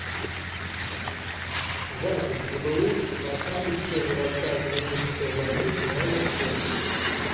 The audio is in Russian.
запись гбуз архангельская городская клиническая больница номер семь